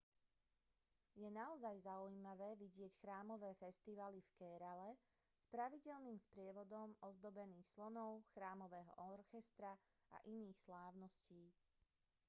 je naozaj zaujímavé vidieť chrámové festivaly v kérale s pravidelným sprievodom ozdobených slonov chrámového orchestra a iných slávností